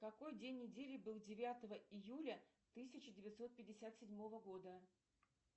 какой день недели был девятого июля тысяча девятьсот пятьдесят седьмого года